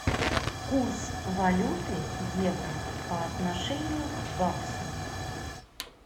курс валюты евро по отношению к баксу